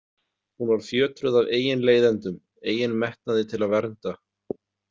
Hún var fjötruð af eigin leiðindum, eigin metnaði til að vernda.